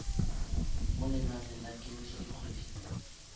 mo lenaneng la kemiso dikgwedi